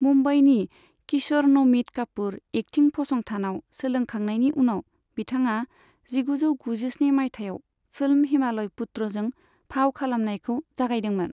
मुम्बाईनि Kishore Namit Kapoor acting फसंथानाव सोलोंखांनायनि उनाव बिथाङा जिगुजौ गुजिस्नि माइथायाव फिल्म हिमालय पुत्रजों फाव खालामनायखौ जागायदोंमोन।